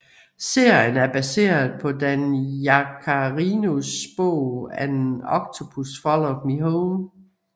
Serien er baseret på Dan Yaccarinos bog An Octopus Followed Me Home